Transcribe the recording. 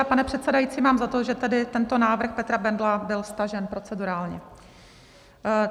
A pane předsedající, mám za to, že tedy tento návrh Petra Bendla, byl stažen procedurálně.